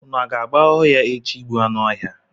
Unu aga-aba ọhịa echi ịgbu anụ ọhịa?